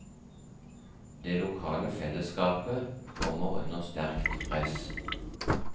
Det lokale fellesskapet kommer under sterkt press.